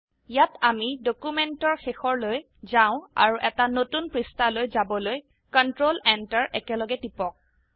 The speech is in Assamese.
ইয়াত আমিডকিউমেন্টৰ শেষৰলৈ যাও আৰু এটা নতুন পৃষ্ঠালৈ যাবলৈ কন্ট্ৰোল এন্টাৰ একলগে টিপক